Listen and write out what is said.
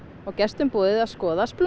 og gestum boðið að skoða